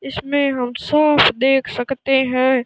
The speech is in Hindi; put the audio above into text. इसमें हम साफ देख सकते हैं।